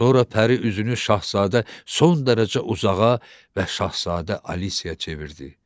Sonra Pəri üzünü Şahzadə son dərəcə uzağa və Şahzadə Alisyaya çevirdi.